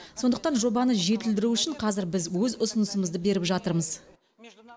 сондықтан жобаны жетілдіру үшін қазір біз өз ұсынысымызды беріп жатырмыз